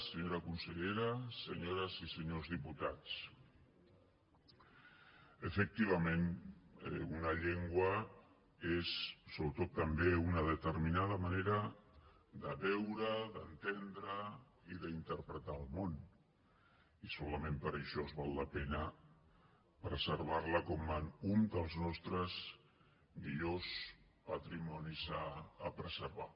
senyora consellera senyores i senyors diputats efectivament una llengua és sobretot també una determinada manera de veure d’entendre i d’interpretar el món i solament per això val la pena preservar la com un dels nostres millors patrimonis a preservar